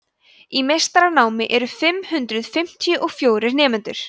í meistaranámi voru fimm hundruð fimmtíu og fjórir nemendur